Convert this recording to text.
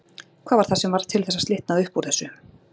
Hvað var það sem varð til þess að slitnaði upp úr þessu?